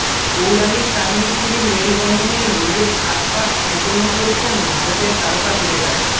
পৌরাণিক কাহিনী গুলির মেলবন্ধনেই নিজের সাত পাক সম্পূর্ণ করেছেন ভারতের তারকা ক্রিকেটার